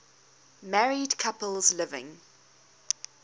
married couples living